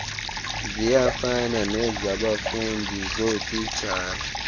ziyafana nezabafundi zootitshala